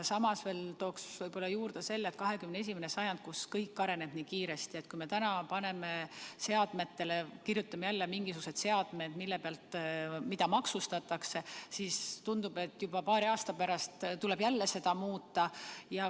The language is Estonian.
Samas tooks võib-olla veel juurde selle, et on 21. sajand, kus kõik areneb nii kiiresti, ja kui me täna paneme jälle kirja mingisugused seadmed, mida maksustatakse, siis tundub, et juba paari aasta pärast tuleks jälle seda muuta.